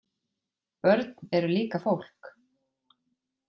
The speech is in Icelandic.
Börn eru líka fólk.